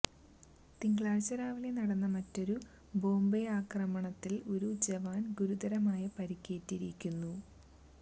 തിങ്കളാഴ്ച രാവിലെ നടന്ന മറ്റൊരു ബോംബാക്രമണത്തില് ഒരു ജവാന് ഗുരുതരമായി പരിക്കേറ്റിയരുന്നു